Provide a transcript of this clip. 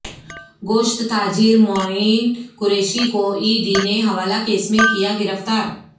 گوشت تاجر معین قریشی کو ای ڈی نے حوالہ کیس میں کیا گرفتار